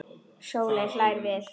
Sóley hlær við.